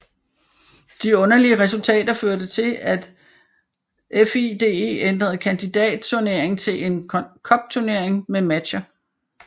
De underlige resultater førte til at FIDE ændrede kandidatturnering til en cupturnering med matcher